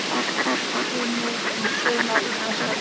Bjartsýni um sölu á Íslandsferðum